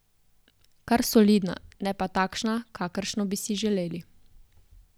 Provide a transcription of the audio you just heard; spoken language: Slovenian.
Kar solidna, ne pa takšna, kakršno bi si želeli.